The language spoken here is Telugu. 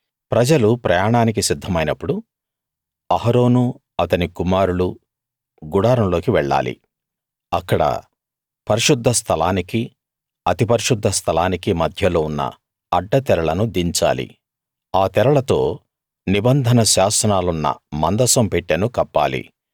ప్రజలు ప్రయాణానికి సిద్ధమైనప్పుడు అహరోనూ అతని కుమారులూ గుడారంలోకి వెళ్ళాలి అక్కడ పరిశుద్ధ స్థలానికీ అతి పరిశుద్ధ స్థలానికీ మధ్యలో ఉన్న అడ్డ తెరలను దించాలి ఆ తెరలతో నిబంధన శాసనాలున్న మందసం పెట్టెను కప్పాలి